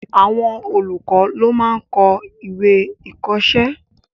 Àwọn olùkọ́ ló máa n kọ́ ìwé-ìkọ̀ọ́sẹ́